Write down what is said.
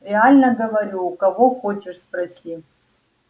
реально говорю у кого хочешь спроси